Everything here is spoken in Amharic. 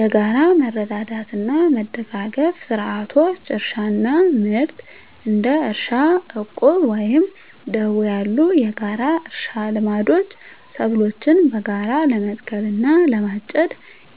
የጋራ መረዳዳትና መደጋገፍ ስርዓቶች: * እርሻና ምርት: እንደ እርሻ ዕቁብ ወይም ደቦ ያሉ የጋራ እርሻ ልምዶች ሰብሎችን በጋራ ለመትከል እና ለማጨድ